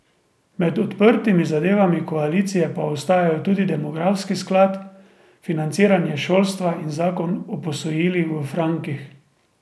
Med odprtimi zadevami koalicije pa ostajajo tudi demografski sklad, financiranje šolstva in zakon o posojilih v frankih.